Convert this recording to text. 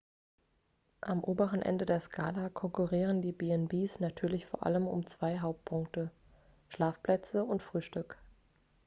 am oberen ende der skala konkurrieren die b&bs natürlich vor allem um zwei hauptpunkte schlafplätze und frühstück